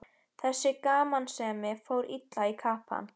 Þessi gamansemi fór illa í kappann.